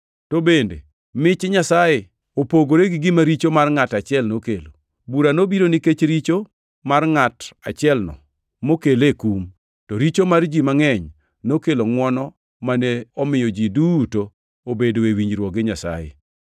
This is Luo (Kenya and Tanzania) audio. To bende mich Nyasaye opogore gi gima richo mar ngʼat achiel nokelo. Bura nobiro nikech richo mar ngʼato achielno mokele kum, to richo mar ji mangʼeny nokelo ngʼwono mane omiyo ji duto obedoe e winjruok gi Nyasaye.